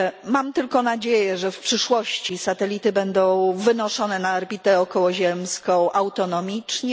Mam tylko nadzieję, że w przyszłości satelity będą wynoszone na orbitę okołoziemską autonomicznie.